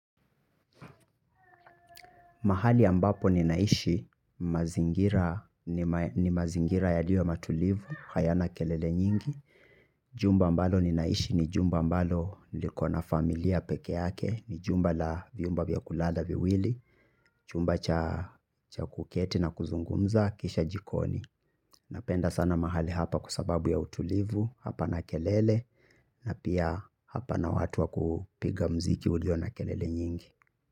Mahali ambapo ninaishi, ni mazingira yaliyo matulivu, hayana kelele nyingi. Jumba ambalo ninaishi ni jumba ambalo, likona familia pekee yake, ni jumba la vyumba vya kulala viwili, chumba cha kuketi na kuzungumza, kisha jikoni. Napenda sana mahali hapa kwa sababu ya utulivu, hapana kelele, na pia hapa na watu wa kupiga mziki ulio na kelele nyingi.